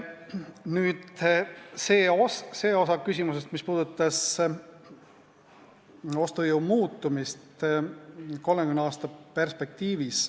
Nüüd see osa küsimusest, mis puudutas ostujõu muutumist 30 aasta perspektiivis.